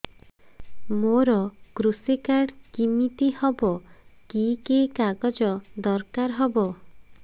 ମୋର କୃଷି କାର୍ଡ କିମିତି ହବ କି କି କାଗଜ ଦରକାର ହବ